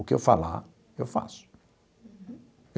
O que eu falar, eu faço.